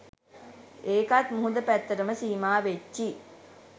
ඒකත් මුහුද පැත්තටම සීමා වෙච්චි